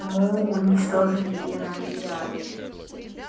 мы уничтожили и рай и ад